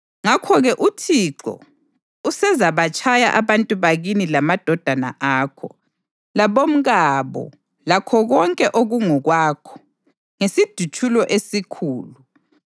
Ngakho-ke uThixo usezabatshaya abantu bakini lamadodana akho, labomkabo lakho konke okungokwakho, ngesidutshulo esikhulu.